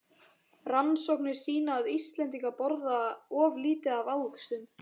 Rannsóknir sýna að Íslendingar borða of lítið af ávöxtum.